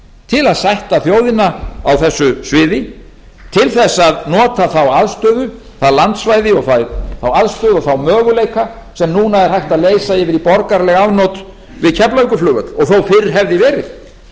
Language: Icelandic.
til að sætta þjóðina á þessu svæði til þess að nota þá aðstöðu það landsvæði og þá aðstöðu og þá möguleika sem núna er hægt að leysa yfir í borgaraleg afnot við keflavíkurflugvöll og þó fyrr hefði verið